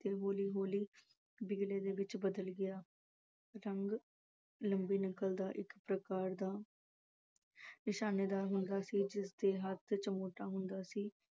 ਤੇ ਹੌਲੀ ਹੌਲੀ ਬੋਲੀ ਵਿਗੜੇ ਦੇ ਵਿੱਚ ਬਦਲ ਗਿਆ ਇੱਕ ਪ੍ਰਕਾਰ ਦਾ ਹੁੰਦਾ ਸੀ ਜਿਸ ਦੇ ਹੱਥ ਚ ਹੁੰਦਾ ਸੀ।